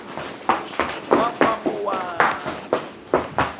wakwamowabi